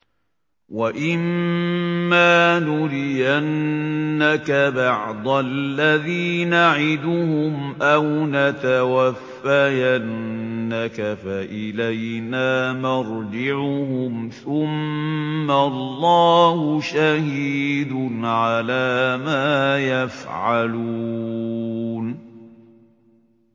وَإِمَّا نُرِيَنَّكَ بَعْضَ الَّذِي نَعِدُهُمْ أَوْ نَتَوَفَّيَنَّكَ فَإِلَيْنَا مَرْجِعُهُمْ ثُمَّ اللَّهُ شَهِيدٌ عَلَىٰ مَا يَفْعَلُونَ